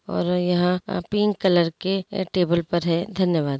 और यहां का पिंक कलर के टेबल पर है धन्यवाद।